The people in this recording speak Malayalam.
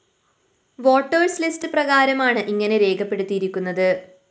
വോട്ടേഴ്സ്‌ ലിസ്റ്റ്‌ പ്രകാരമാണ് ഇങ്ങനെ രേഖപ്പെടുത്തിയിരിക്കുന്നത്